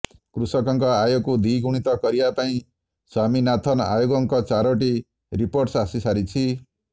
କୃଷକଙ୍କ ଆୟକୁ ଦ୍ୱିଗୁଣିତ କରିବା ପାଇଁ ସ୍ୱାମୀନାଥନ ଆୟୋଗଙ୍କ ଚାରୋଟି ରିପୋର୍ଟ ଆସି ସାରିଛି